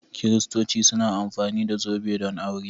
Kiristoci suna amfani da zobe don aure.